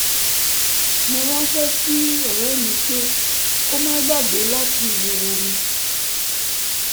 mo ránṣẹ́ sí ọ̀rẹ́ mí pé kó má gbàgbé látí mu omi